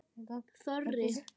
Þorri